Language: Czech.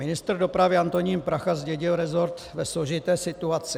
Ministr dopravy Antonín Prachař zdědil resort ve složité situaci.